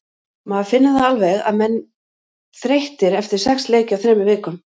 Maður finnur það alveg að menn þreyttir eftir sex leiki á þremur vikum.